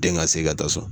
Den ka se ka taa so